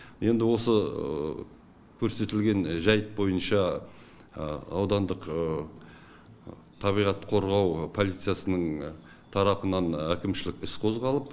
енді осы көрсетілген жайт бойынша аудандық табиғат қорғау полициясының тарапынан әкімшілік іс қозғалып